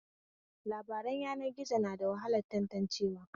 Labaran yanar gizo na da wahalar tantancewa